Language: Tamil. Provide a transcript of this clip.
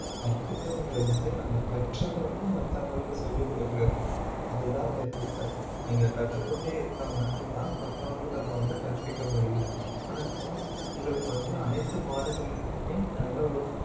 கற்பித்தல்ங்கிறது வந்து நம்ம கற்றதை வந்து மத்தவங்களுக்கு சொல்லிக் கொடுக்கிறது அதுதான் கற்பித்தல் நீங்க கற்றுக் கொண்டே இருந்தால் மட்டும்தான் மத்தவங்களுக்கு அதை வந்து கற்பிக்க முடியும் உங்களுக்கு வந்து அனைத்து பாடுகளிலுமே நல்ல ஒரு